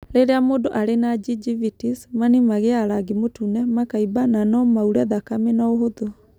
rĩrĩa mũndũ arĩ na gingivitis, mani magĩaga rangi mũtune, makaimba na no maure thakame na ũhũthũ.